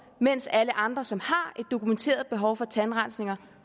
mens alle andre som har et dokumenteret behov for tandrensninger